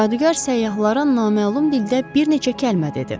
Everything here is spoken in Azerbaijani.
Cadugar səyyahlara naməlum dildə bir neçə kəlmə dedi.